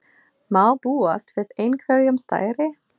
Má búast við einhverjum stærri?